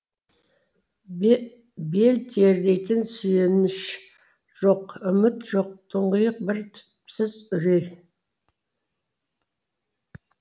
бел тірейтін сүйеніш жоқ үміт жоқ тұңғиық бір түпсіз үрей